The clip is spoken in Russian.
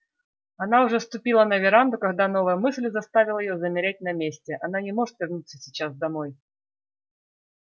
она уже ступила на веранду когда новая мысль заставила её замереть на месте она не может вернуться сейчас домой